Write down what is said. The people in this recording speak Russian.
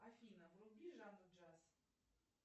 афина вруби жанну джаз